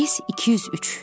Reys 203.